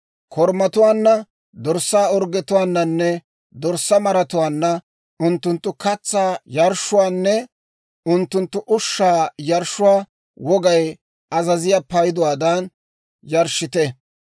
Korumatuwaanna, dorssaa orggetuwaananne dorssaa maratuwaanna, unttunttu katsaa yarshshuwaanne unttunttu ushshaa yarshshuwaa wogay azaziyaa payduwaadan yarshshite.